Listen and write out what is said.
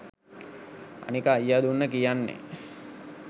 අනික අයියා දුන්න කියන්නෙ